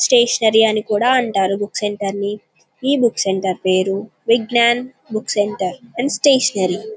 Stationery అని కూడా అంటారు బుక్ సెంటర్ ని ఈ బుక్ సెంటర్ పేరు Vighnan book centre and stationery .